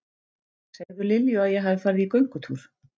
Segðu Lilju að ég hafi farið í göngutúr.